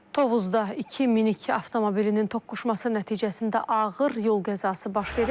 Tovuzda iki minik avtomobilinin toqquşması nəticəsində ağır yol qəzası baş verib.